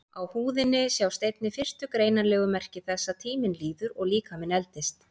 Á húðinni sjást einnig fyrstu greinanlegu merki þess að tíminn líður og líkaminn eldist.